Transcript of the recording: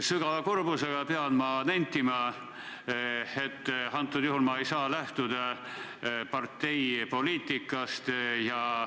Ma pean kurbusega nentima, et praegusel juhul ei saa ma lähtuda parteipoliitikast.